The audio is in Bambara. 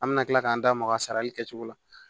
An bɛna kila k'an da maga a sarali kɛcogo la